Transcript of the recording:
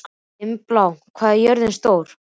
Dimmblá, hvað er jörðin stór?